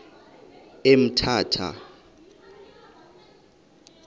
emthatha